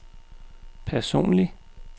personlig